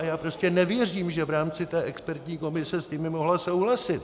A já prostě nevěřím, že v rámci té expertní komise s nimi mohla souhlasit.